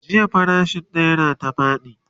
farashin naira ta faɗi